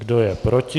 Kdo je proti?